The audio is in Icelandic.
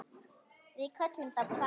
Við köllum þá hvali.